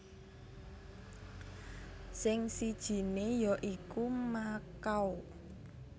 Sing sijiné ya iku Makau